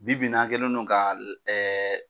Bi bi in a kɛlen no ka la ɛɛ